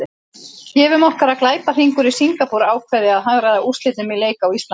Gefum okkur að glæpahringur í Singapúr ákveði að hagræða úrslitum í leik á Íslandi.